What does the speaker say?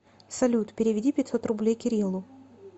салют переведи пятьсот рублей кириллу